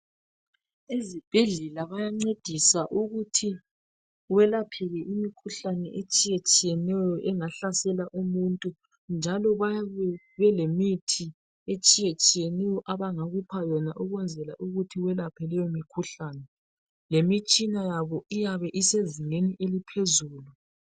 Ezibhedlela bayancedisa ukuthi kwelapheke imikhuhlane etshiyetshiyeneyo engahlasela umuntu njalo bayabe belemithi etshiyetshiyeneyo abangakupha yona ukwenzela ukuthi welapheke leyomikhuhlane lemitshina yoba iyabe isezingeni eliphezulu.